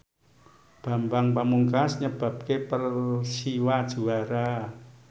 Bambang Pamungkas nyebabke Persiwa juara